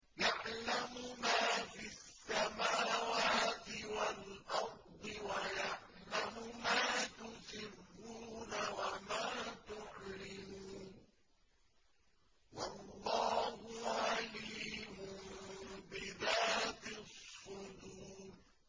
يَعْلَمُ مَا فِي السَّمَاوَاتِ وَالْأَرْضِ وَيَعْلَمُ مَا تُسِرُّونَ وَمَا تُعْلِنُونَ ۚ وَاللَّهُ عَلِيمٌ بِذَاتِ الصُّدُورِ